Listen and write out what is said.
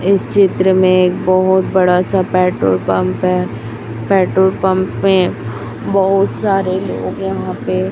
इस चित्र में एक बहोत बड़ा सा पेट्रोल पंप है पेट्रोल पंप पे बहोत सारे लोग यहां पे--